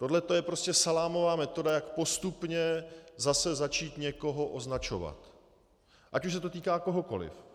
Tohleto je prostě salámová metoda, jak postupně zase začít někoho označovat, ať už se to týká kohokoli.